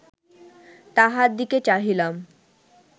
তাহার দিকে চাহিলাম